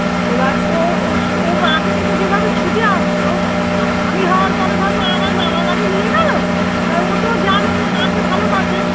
এবার ওর ওর ও মা কে দেখে যেভাবে ছুটে আসতো আআমি হওয়ার পরে থাকবো আমায় মামার বাড়ি নিয়ে গেলো এবার ও তো জানে মা কে ভালোবাসে